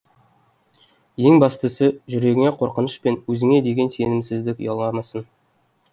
ең бастысы жүрегіңе қорқыныш пен өзіңе деген сенімсіздік ұяламасын